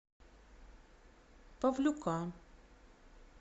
павлюка